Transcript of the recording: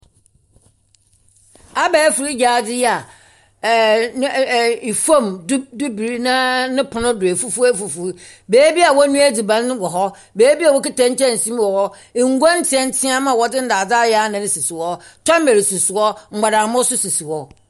Abɛɛfo gyadze yi a ɛ fam dubre na ne pon do afufuw afufuw beebi a wɔnua adziban wɔ wɔ hɔ. Beebi a wɔkita nkyɛnsee mu wɔ hɔ. Ngua nteantea a wɔdze ndaadze anan ayɛ sisi hɔ. Tɔmer sisi hɔ, mbɔdammɔ nso sisi hɔ.